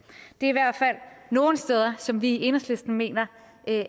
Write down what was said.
det er i hvert fald nogle steder som vi i enhedslisten mener